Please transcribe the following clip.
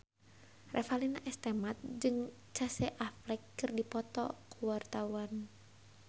Revalina S. Temat jeung Casey Affleck keur dipoto ku wartawan